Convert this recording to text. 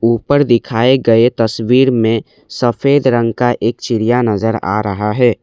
ऊपर दिखाए गए तस्वीर में सफेद रंग का एक चिड़िया नजर आ रहा है।